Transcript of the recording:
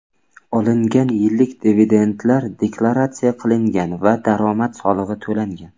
Olingan yillik dividendlar deklaratsiya qilingan va daromad solig‘i to‘langan.